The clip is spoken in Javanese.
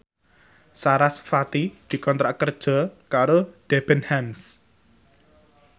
sarasvati dikontrak kerja karo Debenhams